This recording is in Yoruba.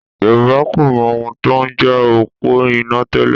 Yorùbá kò mọ ohun tó ń jẹ́ òpó iná tẹ́lẹ̀